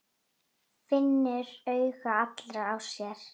Finnur augu allra á sér.